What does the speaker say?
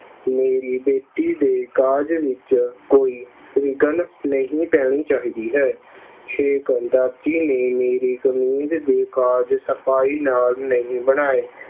ਮੇਰੀ ਬੇਟੀ ਦੇ ਕਾਜ ਵਿੱਚ ਕੋਈ ਵਿਘਨ ਨਹੀਂ ਪੈਣੀ ਚਾਹੀਦੀ ਹੈ। ਦਾਦੀ ਨੇ ਮੇਰੀ ਕਮੀਜ਼ ਦੇ ਕਾਜ ਸਫਾਈ ਨਾਲ ਨਹੀਂ ਬਣਾਏ।